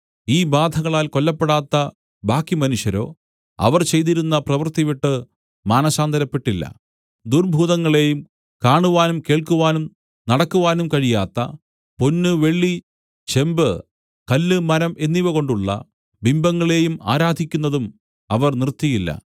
ഈ ബാധകളാൽ കൊല്ലപ്പെടാത്ത ബാക്കി മനുഷ്യരോ അവർ ചെയ്തിരുന്ന പ്രവൃത്തി വിട്ടു മാനസാന്തരപ്പെട്ടില്ല ദുർഭൂതങ്ങളെയും കാണുവാനും കേൾക്കുവാനും നടക്കുവാനും കഴിയാത്ത പൊന്നു വെള്ളി ചെമ്പു കല്ല് മരം എന്നിവകൊണ്ടുള്ള ബിംബങ്ങളെയും ആരാധിക്കുന്നതും അവർ നിർത്തിയില്ല